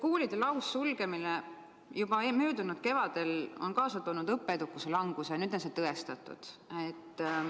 Koolide laussulgemine juba möödunud kevadel on kaasa toonud õppeedukuse languse ja nüüd on see tõestatud.